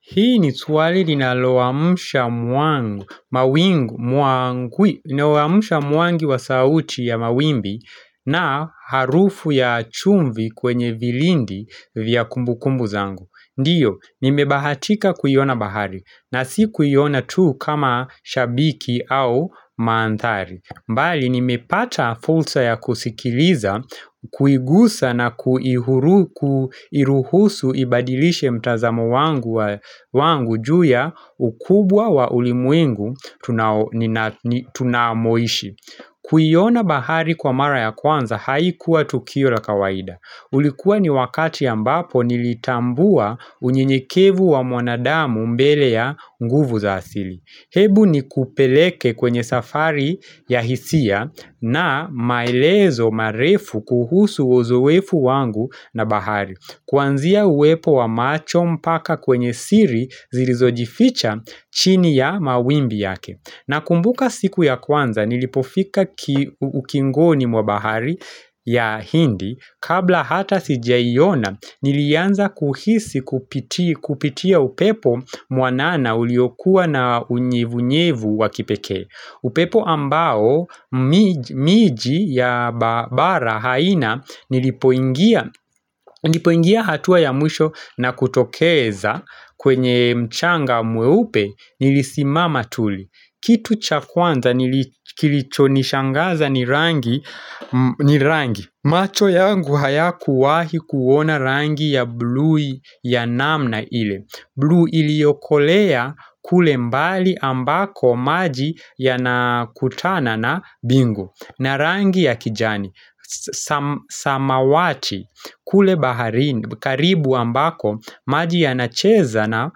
Hii ni swali ninaloamusha mwangi wa sauti ya mawimbi na harufu ya chumvi kwenye vilindi vya kumbu kumbu zangu. Ndiyo, nimebahatika kuyona bahari na si kuyona tu kama shabiki au maandhari. Mbali ni mepata fulsa ya kusikiliza, kuigusa na kuiruhusu ibadilishe mtazamo wangu juu ya ukubwa wa ulimuingu tunamoishi. Kuyiona bahari kwa mara ya kwanza haikuwa tukio la kawaida. Ulikuwa ni wakati ambapo nilitambua unyenyekevu wa mwanadamu mbele ya nguvu za asili. Hebu ni kupeleke kwenye safari ya hisia na maelezo marefu kuhusu uzowefu wangu na bahari Kwanzia uwepo wa macho mpaka kwenye siri zilizojificha chini ya mawimbi yake na kumbuka siku ya kwanza nilipofika ukingoni mwa bahari ya hindi Kabla hata sijaiona nilianza kuhisi kupitia upepo mwanana uliokuwa na unyevu nyevu wakipeke upepo ambao miji ya bara haina nilipoingia hatua ya mwisho na kutokeza kwenye mchanga mwe upe nilisimama tuli Kitu chakwanza nilichonishangaza nirangi ni rangi macho yangu haya kuwahi kuona rangi ya blue ya namna ile Blue iliokolea kule mbali ambako maji ya nakutana na bingu na rangi ya kijani samawati kule bahari karibu ambako maji ya nacheza na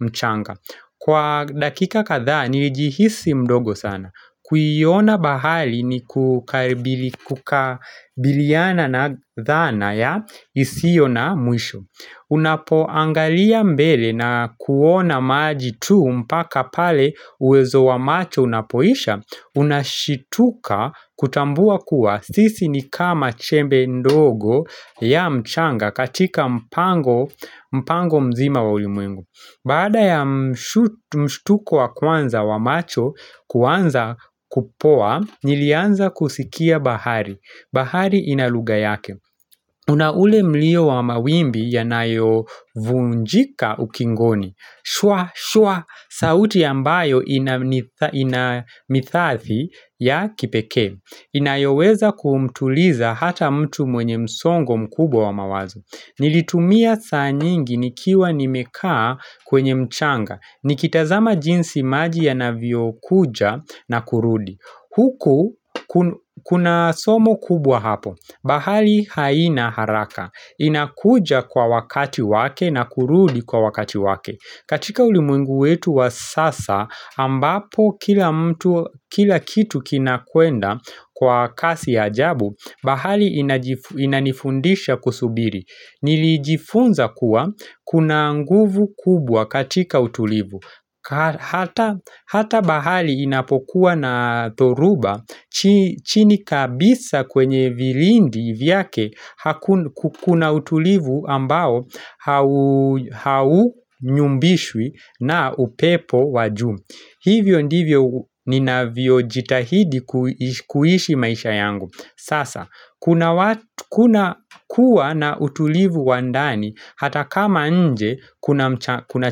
mchanga Kwa dakika kadha ni jihisi mdogo sana Kuyiona bahali ni kukabiliyana na dhana ya isiyo na mwisho Unapoangalia mbele na kuona maji tu mpaka pale uwezo wa macho unapoisha Unashituka kutambua kuwa sisi ni kama chembe ndogo ya mchanga katika mpango mzima wa ulimwengu Bada ya mshutuko wa kwanza wa macho kwanza kupoa, nilianza kusikia bahari. Bahari inaluga yake. Unaule mlio wa mawimbi yanayo vunjika ukingoni. Shwa, shwa, sauti ya mbayo inamithathi ya kipeke. Inayoweza kumtuliza hata mtu mwenye msongo mkubwa wa mawazo Nilitumia saa nyingi nikiwa nimekaa kwenye mchanga Nikitazama jinsi maji ya navio kuja na kurudi Huku kuna somo kubwa hapo Bahali haina haraka inakuja kwa wakati wake na kurudi kwa wakati wake katika ulimwengu wetu wa sasa ambapo kila mtu kila kitu kinakuenda kwa kasi hajabu bahali inanifundisha kusubiri Nilijifunza kuwa kuna nguvu kubwa katika utulivu Hata bahali inapokuwa na dhoruba chini kabisa kwenye vilindi vyake kuna utulivu ambao hau nyumbishwi na upepo waju Hivyo ndivyo ninavyo jitahidi kuhishi maisha yangu Sasa, kuna kuwa na utulivu wandani hata kama nje kuna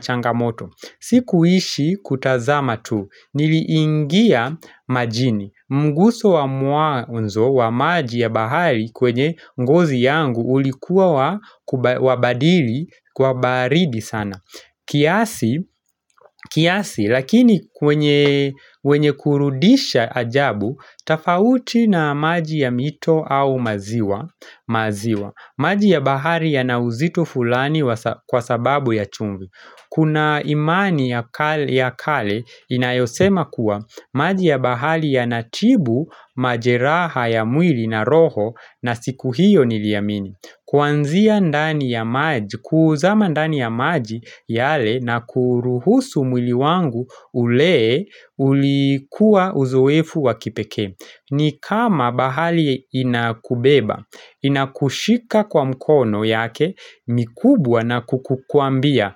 changamoto Sikuishi kutazama tu, nili ingia majini Mguso wa mwanzo wa maji ya bahari kwenye ngozi yangu ulikuwa wabadili, wabaridi sana kiasi lakini kwenye kurudisha ajabu Tafauti na maji ya mito au maziwa maji ya bahari ya nauzito fulani kwa sababu ya chungu Kuna imani ya kale ya kale inayosema kuwa maji ya bahari ya natibu majeraha ya mwili na roho na siku hiyo niliamini Kuanzia ndani ya maji kuuza mandani ya maji yale na kuruhusu mwili wangu ulee ulikua uzoefu wa kipeke ni kama bahali inakubeba, inakushika kwa mkono yake, mikubwa na kukukwambia.